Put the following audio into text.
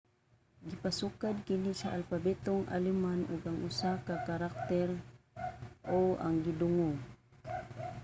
gipasukad kini sa alpabetong aleman ug ang usa ka karakter õ/õ ang gidungag